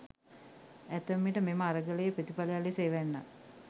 ඇතැම් විට මෙම අරගලයේ ප්‍රතිඵලයක් ලෙස එවැන්නක්